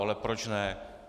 Ale proč ne.